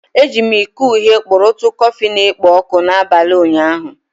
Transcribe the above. Eji m iko uhie kpurutu kọfị na-ekpo ọkụ n'abalị ụnyaahụ.